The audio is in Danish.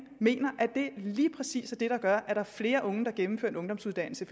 mener at det lige præcis er det der gør at der er flere unge der gennemfører en ungdomsuddannelse